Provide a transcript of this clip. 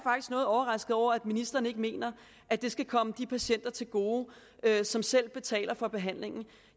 noget overrasket over at ministeren ikke mener at det skal komme de patienter til gode som selv betaler for behandlingen